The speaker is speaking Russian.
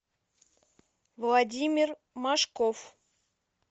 владимир машков